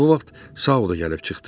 Bu vaxt Sau da gəlib çıxdı.